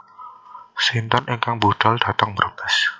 Sinten ingkang budal dateng Brebes